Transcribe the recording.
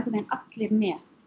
veginn allir með